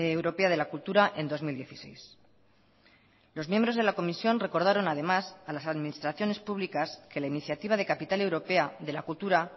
europea de la cultura en dos mil dieciséis los miembros de la comisión recordaron además a las administraciones públicas que la iniciativa de capital europea de la cultura